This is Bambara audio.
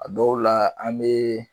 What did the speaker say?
A dɔw la an mee